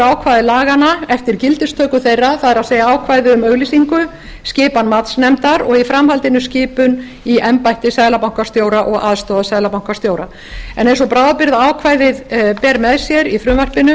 ákvæði laganna eftir gildistöku þeirra það er ákvæði um auglýsingu skipan matsnefndar og í framhaldinu skipun í embætti seðlabankastjóra og aðstoðarseðlabankastjóra en eins og bráðabirgðaákvæðið ber með sér í frumvarpinu